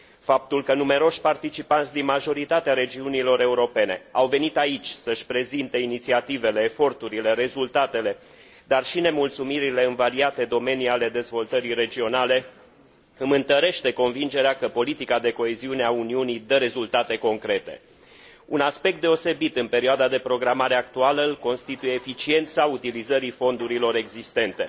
Faptul că numeroși participanți, din majoritatea regiunilor europene, au venit aici să și prezinte inițiativele, eforturile, rezultatele, dar și nemulțumirile în variate domenii ale dezvoltării regionale, îmi întărește convingerea că politica de coeziune a Uniunii dă rezultate concrete Un aspect deosebit în perioada de programare actuală îl constituie eficiența utilizării fondurilor existente.